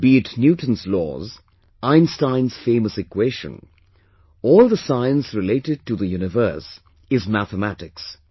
Be it Newton's laws, Einstein's famous equation, all the science related to the universe is mathematics